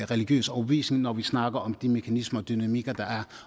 religiøs overbevisning når vi snakker om de mekanismer og dynamikker der er